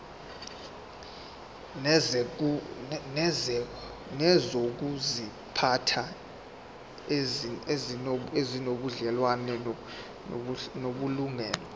nezokuziphatha ezinobudlelwano namalungelo